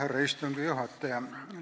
Härra istungi juhataja!